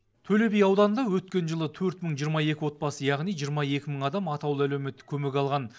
төле би ауданында өткен жылы төрт мың жиырма екі отбасы яғни жиырма екі мың адам атаулы әлеуметтік көмек алған